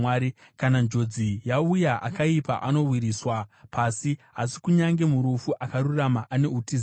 Kana njodzi yauya, akaipa anowisirwa pasi, asi kunyange murufu akarurama ane utiziro.